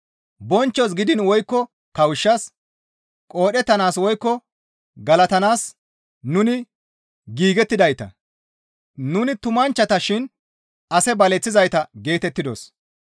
Bonchchos gidiin woykko kawushshas, qoodhettanaas woykko galatanaas nuni giigettidayta; nuni tumanchchata shin ase baleththizayta geetettidos.